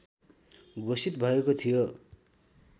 घोषित भएको थियो